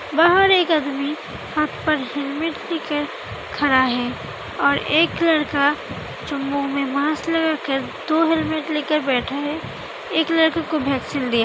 बाहर एक आदमी हाथ पर हेलमेट लेके खड़ा है और एक लड़का जो मुँह मे मास्क लगा कर दो हेलमेट ले कर बैठ है। एक लड़के को वैक्सीन दिया --